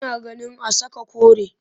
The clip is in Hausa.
Ina ganin a saka kore